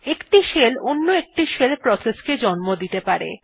একটি শেল অন্য একটি শেল প্রসেস কেও জন্ম দিতে পারে